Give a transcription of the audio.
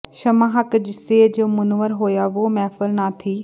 ਸ਼ਮ੍ਹਾ ਹੱਕ ਸੇ ਜੋ ਮੁਨੱਵਰ ਹੋਇਆ ਵੋਹ ਮਹਿਫ਼ਲ ਨਾ ਥੀ